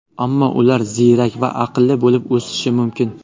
Ammo ular ziyrak va aqlli bo‘lib o‘sishi mumkin.